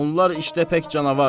Onlar iştəpək canavar.